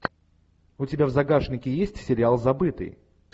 у тебя в загашнике есть сериал забытый